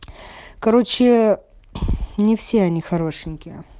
короче не все они хорошенькие